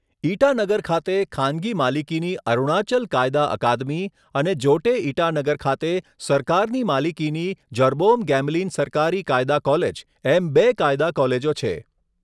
ઇટાનગર ખાતે ખાનગી માલિકીની અરુણાચલ કાયદા અકાદમી અને જોટે, ઇટાનગર ખાતે સરકારની માલિકીની જર્બોમ ગેમલિન સરકારી કાયદા કૉલેજ એમ બે કાયદા કૉલેજો છે.